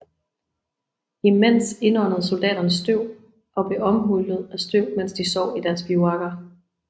Imens indåndede soldaterne støv og blev omhyllet af støv mens de sov i deres bivuakker